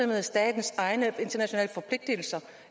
med statens egne internationale forpligtelser